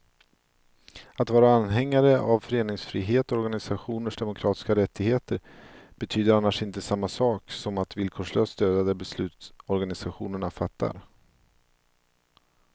Att vara anhängare av föreningsfrihet och organisationers demokratiska rättigheter betyder annars inte samma sak som att villkorslöst stödja de beslut organisationerna fattar.